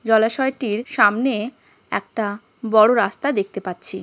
জলাশয়টির সামনে একটা বড়ো রাস্তা দেখতে পাচ্ছি--